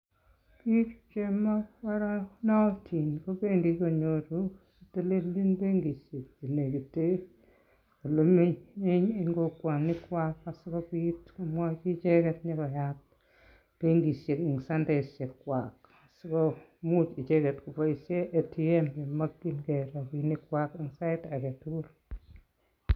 Bik chemakoronotin. kobendii konyoru silingisiek chenekiten olemi en kokwonikwak sikobiit komwochi icheget koyaat benkisiek en sentaisiek chwak sikomuch icheget koboishien ATM kocher rabinikchwak en saitagetugul